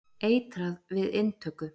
Eitrað við inntöku.